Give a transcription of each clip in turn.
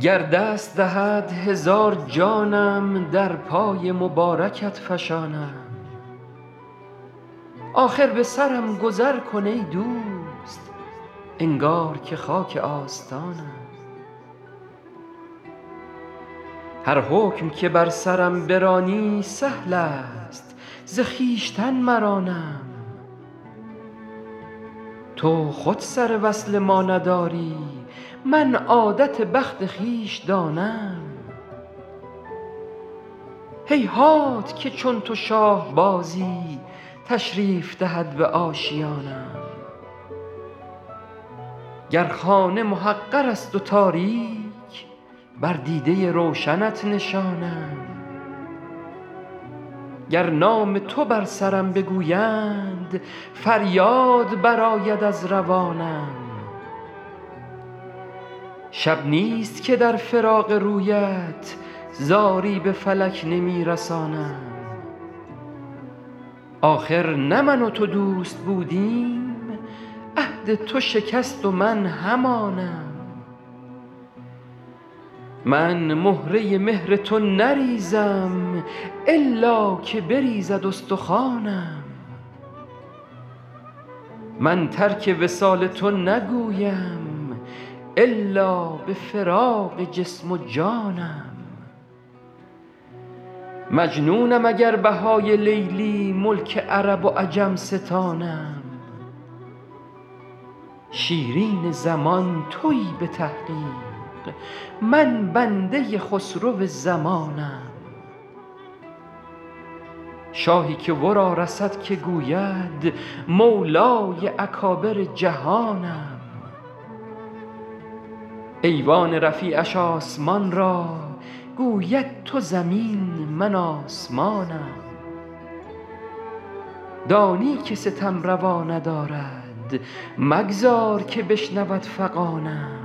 گر دست دهد هزار جانم در پای مبارکت فشانم آخر به سرم گذر کن ای دوست انگار که خاک آستانم هر حکم که بر سرم برانی سهل است ز خویشتن مرانم تو خود سر وصل ما نداری من عادت بخت خویش دانم هیهات که چون تو شاه بازی تشریف دهد به آشیانم گر خانه محقر است و تاریک بر دیده روشنت نشانم گر نام تو بر سرم بگویند فریاد برآید از روانم شب نیست که در فراق رویت زاری به فلک نمی رسانم آخر نه من و تو دوست بودیم عهد تو شکست و من همانم من مهره مهر تو نریزم الا که بریزد استخوانم من ترک وصال تو نگویم الا به فراق جسم و جانم مجنونم اگر بهای لیلی ملک عرب و عجم ستانم شیرین زمان تویی به تحقیق من بنده خسرو زمانم شاهی که ورا رسد که گوید مولای اکابر جهانم ایوان رفیعش آسمان را گوید تو زمین من آسمانم دانی که ستم روا ندارد مگذار که بشنود فغانم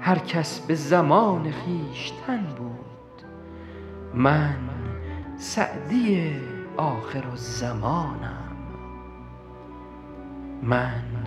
هر کس به زمان خویشتن بود من سعدی آخرالزمانم